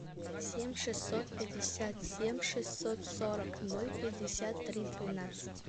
семь шестьсот пятьдесят семь шестьсот сорок ноль пятьдесят три двенадцать